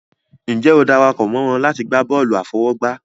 Ǹjẹ́ o dara pọ̀ mọ́ wọn láti gbá bọ́ọ̀lù àfọwọ́gbá?